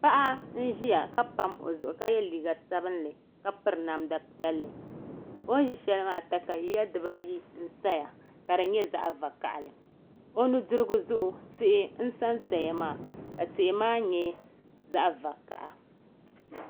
Paɣa n ʒia ka pam o zuɣu ka ye liiga sabinli ka piri namda piɛlli o ni ʒi shelimaa katawiya dibaayi n sa ni ka di nyɛ zaɣa vakahali o nudirigu zuɣu tihi n sansaya maa ka tihi maa nyɛ zaɣa vakaha.